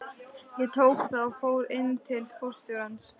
Ég tók það og fór inn til forstjórans.